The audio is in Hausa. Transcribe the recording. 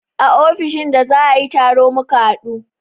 A ofishin da za a yi taro muka haɗu